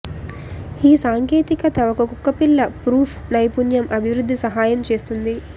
ఈ సాంకేతికత ఒక కుక్కపిల్ల ప్రూఫ్ నైపుణ్యం అభివృద్ధి సహాయం చేస్తుంది